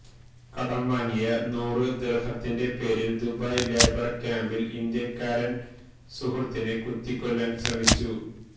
കടം വാങ്ങിയ നൂറ് ദിര്ഹത്തിന്റെ പേരില് ദുബായ് ലേബര് ക്യാമ്പില് ഇന്ത്യക്കാരന് സുഹൃത്തിനെ കുത്തിക്കൊല്ലാന് ശ്രമിച്ചു